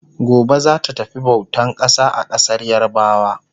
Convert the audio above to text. Gobe zata tafi bautan ƙasa a ƙasar yarabawa